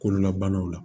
Kololabanaw la